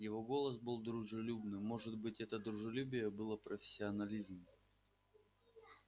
его голос был дружелюбным может быть это дружелюбие было профессионализмом